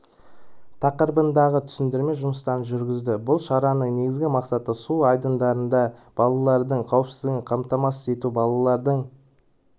тақырыбында түсіндірме жұмыстарын жүргізді бұл шараның негізгі мақсаты су айдындарында балалардың қауіпсіздігін қамтамасыз ету балалардың